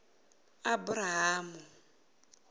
aburahamu